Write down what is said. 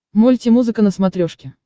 мультимузыка на смотрешке